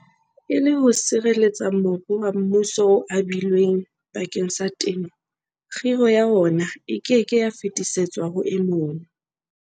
E le ho sireletsa mobu wa mmuso o abilweng bakeng sa temo, kgiro ya wona e ke ke ya fetisetswa ho e mong.